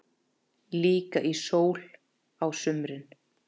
Líka í sól á sumrin.